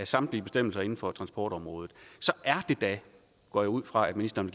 samtlige bestemmelser inden for transportområdet så er det da det går jeg ud fra ministeren